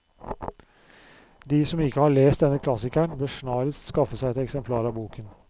De som ikke har lest denne klassikeren, bør snarest skaffe seg et eksemplar av boken.